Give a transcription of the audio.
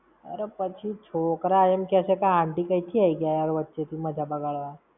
અરે પછી છોકરા એમ કેશે કે aunty કઈ થી આઈ ગયા યાર વચ્ચે થી મજા બગાડવા?